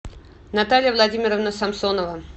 наталья владимировна самсонова